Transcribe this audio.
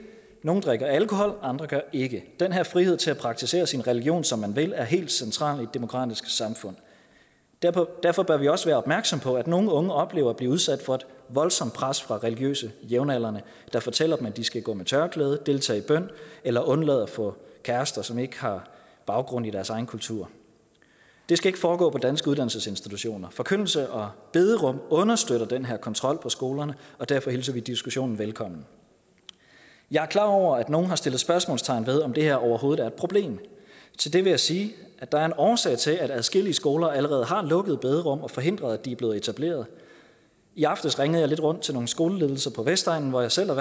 nogle drikker alkohol og andre gør ikke den her frihed til at praktisere sin religion som man vil er helt central i et demokratisk samfund derfor bør vi også være opmærksomme på at nogle unge oplever at blive udsat for et voldsomt pres fra religiøse jævnaldrende der fortæller dem at de skal gå med tørklæde deltage i bøn eller undlade at få kærester som ikke har baggrund i deres egen kultur det skal ikke foregå på danske uddannelsesinstitutioner forkyndelse og bederum understøtter den her kontrol på skolerne og derfor hilser vi diskussionen velkommen jeg er klar over at nogle har sat spørgsmålstegn ved om det her overhovedet er et problem til det vil jeg sige at der er en årsag til at adskillige skoler allerede har lukket bederum eller forhindret at de er blevet etableret i aftes ringede jeg lidt rundt til nogle skoleledelser på vestegnen hvor jeg selv er